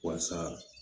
Walasa